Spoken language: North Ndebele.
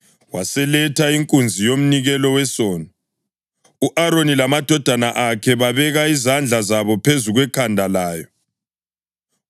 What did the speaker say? Waseletha inkunzi yomnikelo wesono, u-Aroni lamadodana akhe babeka izandla zabo phezu kwekhanda layo.